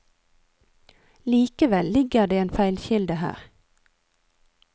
Likevel ligger det en feilkilde her.